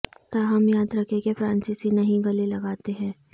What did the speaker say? تاہم یاد رکھیں کہ فرانسیسی نہیں گلے لگاتے ہیں